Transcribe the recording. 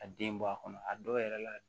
A den bɔ a kɔnɔ a dɔw yɛrɛ la